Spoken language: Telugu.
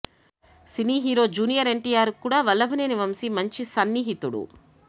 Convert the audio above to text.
సినీ హీరో జూనియర్ ఎన్టీఆర్ కు కూడా వల్లభనేని వంశి మంచి సన్నిహితుడు